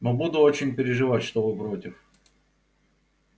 но буду очень переживать что вы против